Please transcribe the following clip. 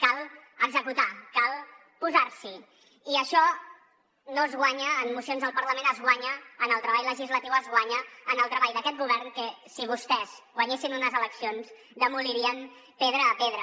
cal executar cal posar s’hi i això no es guanya amb mocions al parlament es guanya en el treball legislatiu es guanya en el treball d’aquest govern que si vostès guanyessin unes eleccions demolirien pedra a pedra